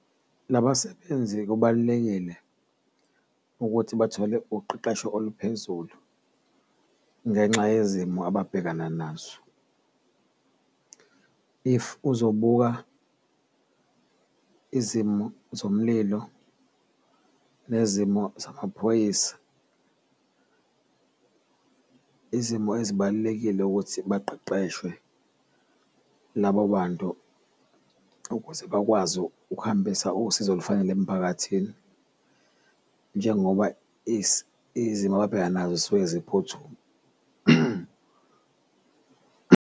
Labasebenzi kubalulekile ukuthi bathole uqeqesho oluphezulu ngenxa yezimo ababhekana nazo if uzobuka izimo zomlilo nezimo zamaphoyisa, izimo ezibalulekile ukuthi baqeqeshwe labo bantu ukuze bakwazi ukuhambisa usizo olufanele emphakathini, njengoba izimo ababhekana nazo zisuke ziphuthuma.